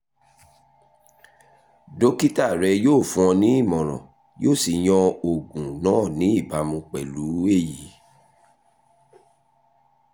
dókítà rẹ yóò fún ọ ní ìmọ̀ràn yóò sì yan oògùn náà ní ìbámu pẹ̀lú èyí